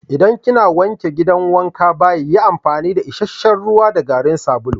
Idan kina wanke gidan wankan/bayi yi amfani da isheshe'n ruwa da garin sabulu.